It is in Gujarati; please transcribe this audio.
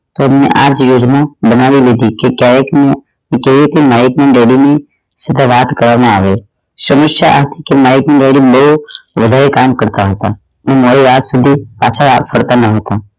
આ જ યોજના બનાવી લીધી કે માઇક ના daddy ની વાત કરવામાં આવે સમસ્યા માઇક ના daddy બહુ વધારે કામ કરતાં હતા મોડી રાત સુધી પાછા ફરતા ના હતા